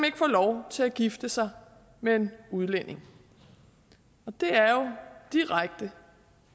ikke få lov til at gifte sig med en udlænding det er jo direkte